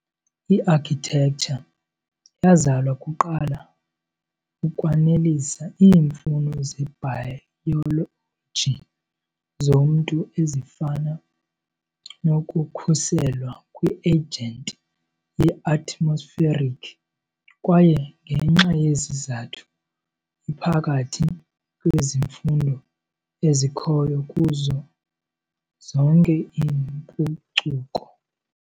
I-Architecture yazalwa kuqala ukwanelisa iimfuno zebhayoloji zomntu ezifana nokukhuselwa kwi-agent ye-atmospheric, kwaye ngenxa yesi sizathu iphakathi kwezifundo ezikhoyo kuzo zonke iimpucuko.